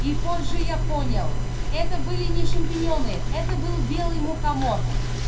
и позже я понял это были не шампиньоны это был белый мухомор